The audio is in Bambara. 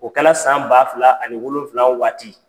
O kɛla san ba fila ani wolonwula waati.